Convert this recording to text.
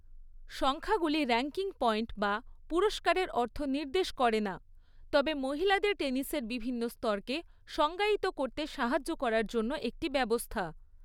সংখ্যাগুলি ranking point বা পুরস্কারের অর্থ নির্দেশ করে না, তবে মহিলাদের টেনিসের বিভিন্ন স্তরকে সংজ্ঞায়িত করতে সাহায্য করার জন্য একটি ব্যবস্থা।